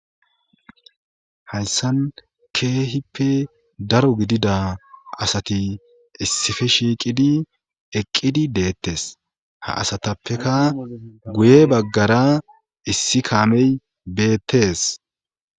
hayssan keehippe daro gidida asati issife shiiqidi eqqidi deettes ha asatappeka guye baggara issi kaamey beettes